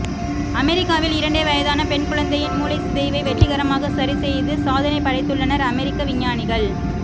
அமெரிக்காவில் இரண்டே வயதான பெண் குழந்தையின் மூளைச் சிதைவை வெற்றிகரமாக சரிசெய்து சாதனை படைத்துள்ளனர் அமெரிக்க விஞ்ஞானிகள்